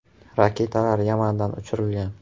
Raketalar Yamandan uchirilgan.